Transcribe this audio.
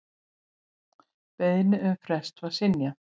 Beiðni um frest var synjað.